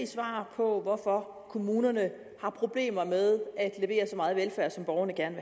svar på hvorfor kommunerne har problemer med at levere så meget velfærd som borgerne gerne